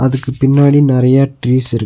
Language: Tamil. அதுக்கு பின்னாடி நறையா ட்ரீஸ் இருக்--